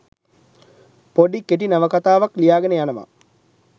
පොඩි කෙටි නවකතාවක් ලියාගෙන යනවා.